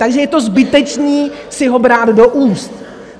Takže je to zbytečné si ho brát do úst.